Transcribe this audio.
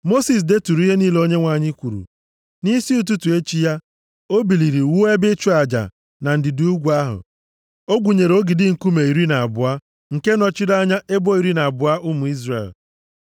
Mosis deturu ihe niile Onyenwe anyị kwuru. Nʼisi ụtụtụ echi ya, o biliri wuo ebe ịchụ aja na ndịda ugwu ahụ. O gwunyere ogidi nkume iri na abụọ nke nọchiri anya ebo iri na abụọ ụmụ Izrel.